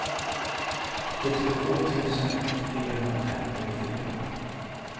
sjuttiotvå tusen fyrahundrafemtiofyra